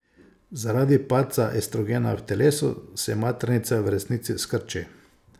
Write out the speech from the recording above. Zaradi padca estrogena v telesu, se maternica v resnici skrči.